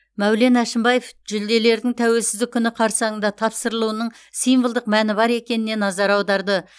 мәулен әшімбаев жүлделердің тәуелсіздік күні қарсаңында тапсырылуының символдық мәні бар екеніне назар аударды